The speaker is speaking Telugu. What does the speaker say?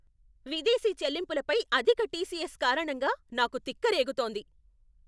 విదేశీ చెల్లింపులపై అధిక టిసిఎస్ కారణంగా నాకు తిక్క రేగుతోంది.